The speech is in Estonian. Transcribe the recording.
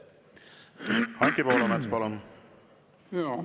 Anti Poolamets, palun!